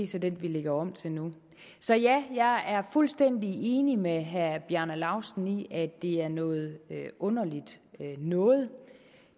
så den vi lægger om til nu så jeg er fuldstændig enig med herre bjarne laustsen i at det er noget underligt noget